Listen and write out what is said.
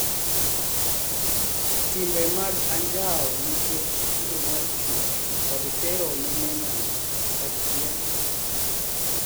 Timbe mag anjao nikech kido mar chuech, kod tero mine nyangu (FGM)